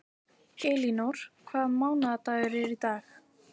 Elínór, hvaða mánaðardagur er í dag?